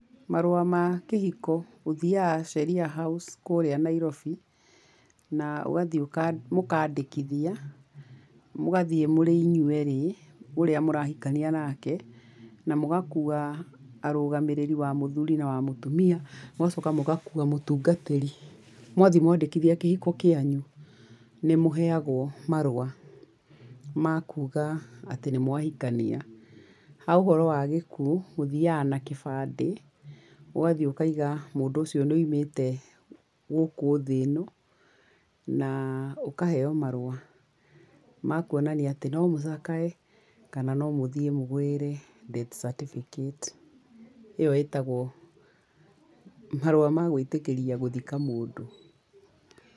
Marũa ma kĩhiko ũthiaga Sheria House kũrĩa Nairobi, na ũgathiĩ mũkaandĩkithia, mũgathiĩ mũrĩ inyuĩ erĩ, ũrĩa mũrahikania nake na mũgakua arũgamĩrĩri wa mũthuri na wa mũtumia, mũgacoka mũgakua mũtungatĩri. Mwathiĩ mwandĩkithia kĩhiko kĩanyu, nĩ mũheagwo marũa makuuga atĩ nĩ mwahikania. Ha ũhoro wa gĩkuo, mũthiaga na kibandĩ, ũgathiĩ ũkaiga mũndũ ũcio nĩ aimĩte gũkũ thĩ ĩno, na ũkaheo marũa makũonania atĩ no mũcakae kana no mũthiĩ mũgĩre death certificate. ĩyo ĩtagwo marũa magwĩtĩkĩria gũthika mũndũ.